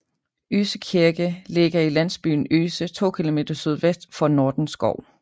Øse Kirke ligger i landsbyen Øse 2 km sydvest for Nordenskov